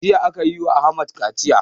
Jiya akayi wa ahmad kaciya